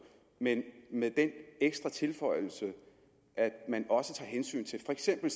men med den ekstra tilføjelse at man også tager hensyn til for eksempel